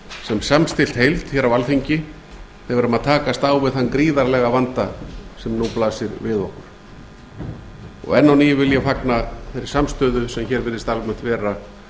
sem samstillt heild hér á alþingi þegar við erum að takast á við þann gríðarlega vanda sem nú blasir við okkur enn á ný vil ég fagna þeirri samstöðu sem hér virðist almennt vera